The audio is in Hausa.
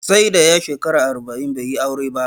Sai da ya shekara arba'in bai yi aure ba